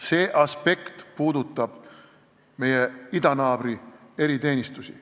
See aspekt puudutab meie idanaabri eriteenistusi.